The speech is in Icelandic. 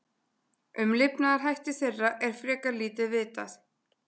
Um lifnaðarhætti þeirra er frekar lítið vitað.